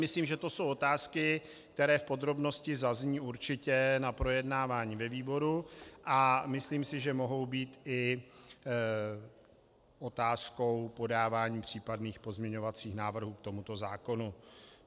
Myslím, že to jsou otázky, které v podrobnosti zazní určitě na projednávání ve výboru, a myslím si, že mohou být i otázkou podávání případných pozměňovacích návrhů k tomuto zákonu.